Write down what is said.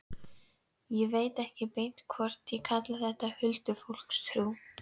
Ég veit ekki beint hvort á að kalla þetta huldufólkstrú.